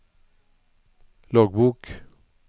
loggbok